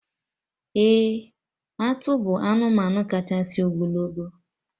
Ee! Atụ bụ anụmanụ kachasị ogologo